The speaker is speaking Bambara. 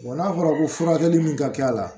n'a fɔra ko furakɛli min ka k'a la